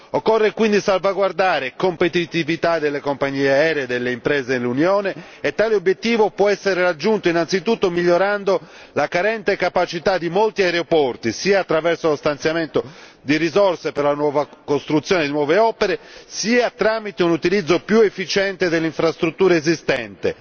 Occorre quindi salvaguardare competitività delle compagnie aeree e delle imprese dell'Unione e tale obiettivo può essere raggiunto innanzitutto migliorando la carente capacità di molti aeroporti, sia attraverso lo stanziamento di risorse per la nuova costruzione di nuove opere, sia tramite un utilizzo più efficiente delle infrastrutture esistenti